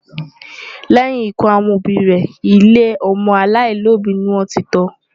Lẹ́yìn ikú àwọn òbí rẹ̀, ilé ọmọ aláìlóbìí ni wọ́n ti tọ́ ọ.